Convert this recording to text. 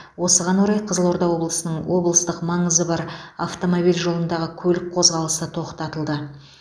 осыған орай қызылорда облысының облыстық маңызы бар автомобиль жолындағы көлік қозғалысы тоқтатылды